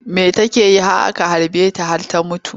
Me take yi har aka harbe ta ta mutu?